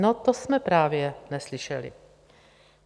No, to jsme právě neslyšeli.